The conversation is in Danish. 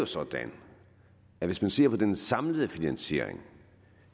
sådan at hvis man ser på den samlede finansiering